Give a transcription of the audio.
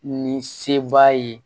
Ni se baa ye